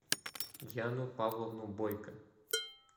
яну павловну бойко